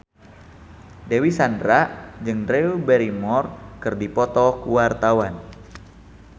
Dewi Sandra jeung Drew Barrymore keur dipoto ku wartawan